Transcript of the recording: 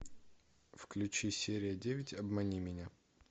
включи серия девять обмани меня